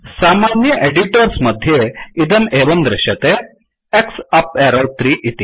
सामान्य एडिटोर्स् मध्ये इदं एवं दृश्यते X अप् एरौ 3 इति